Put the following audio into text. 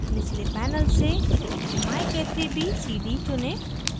निचले panel से myk3bcd चुनें